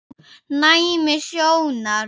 Næmni sjónar